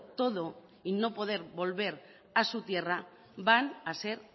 todo y no poder volver a su tierra van a ser